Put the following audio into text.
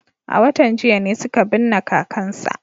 A watan jiya ne suka binne kakansa.